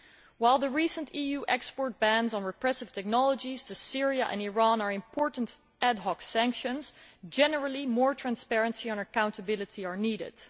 While the recent EU export bans on repressive technologies to Syria and Iran are important ad hoc sanctions, generally, more transparency and accountability are needed.